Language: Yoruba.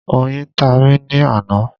Oyin ta mí ní àná